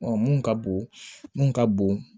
mun ka bon mun ka bon